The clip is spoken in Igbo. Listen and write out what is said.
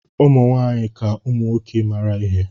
Ụmụ nwaanyị ka ụmụ nwoke mara ihe.